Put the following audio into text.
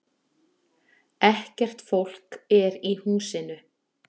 Ekkert fólk er í húsinu